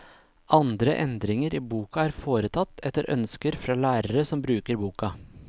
Andre endringer i boka er foretatt, etter ønsker fra lærere som bruker boka.